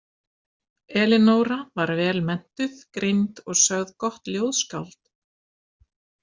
Elinóra var vel menntuð, greind og sögð gott ljóðskáld.